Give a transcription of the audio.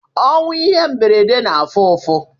Ọnwụ ihe mberede na afụ ụfụ